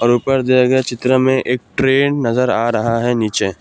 ऊपर दिए गए चित्र में एक ट्रे नजर आ रहा है नीचे।